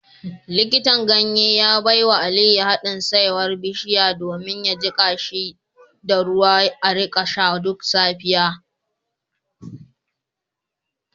Likitan ganye ya baiwa Aliyu hadin saiwar bishiya domin a jika shi da ruwa a rika sha duk safiya